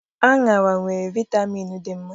Aṅara nwere vitamịn dị mma.